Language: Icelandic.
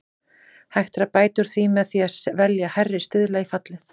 Hægt er að bæta úr því með því að velja hærri stuðla í fallið.